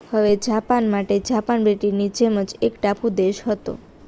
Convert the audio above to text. હવે જાપાન માટે જાપાન બ્રિટનની જેમ જ એક ટાપુ દેશ હતો